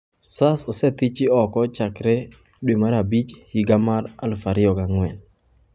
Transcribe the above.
Sars osethiki oko chakre Mei higa mar 2004.